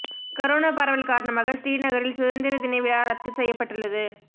corona பரவல் காரணமாக ஸ்ரீநகரில் சுதந்திர தின விழா ரத்து செய்யப்பட்டுள்ளது